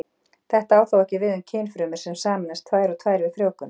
Þetta á þó ekki við um kynfrumur sem sameinast tvær og tvær við frjóvgun.